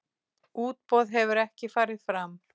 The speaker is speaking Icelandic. Útboð hefur ekki farið fram.